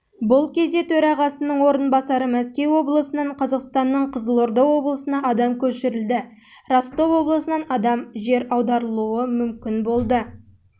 бұл кезде төрағасының орынбасары мәскеу облысынан қазақстанның қызылорда облысына адам көшірілді ростов облысынан адам жер аударылуы